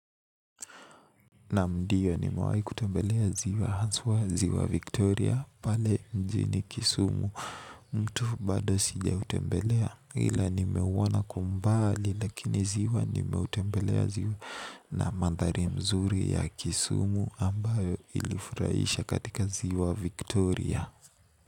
Naam diyo nimewai kutembelea ziwa. Haswa ziwa Victoria pale mjini kisumu mto bado sijautembelea ila nimeuona kwa umbali lakini ziwa nimeutembelea ziwa na mandhari mzuri ya kisumu ambayo ilifurahisha katika ziwa Victoria.